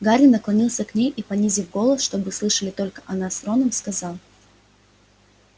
гарри наклонился к ней и понизив голос чтобы слышали только она с роном сказал